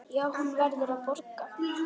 Já, hún verður að borga.